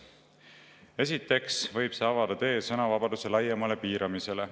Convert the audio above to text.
Esiteks võib see avada tee sõnavabaduse laiemale piiramisele.